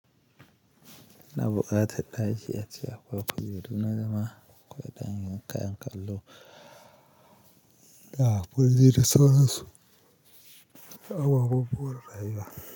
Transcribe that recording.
Ina bukatar ɗaki a ce akwai kujeru na zama akwai ɗanyun kayan kallo da ƙwalliya da sauransu, akwai ƙwalliya rayuwa.